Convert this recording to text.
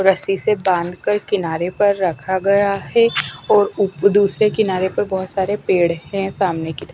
रस्सी से बांध कर किनारे पर रखा गया है और उ दूसरे किनारे पर बहुत सारे पेड़ हैं सामने की तरफ--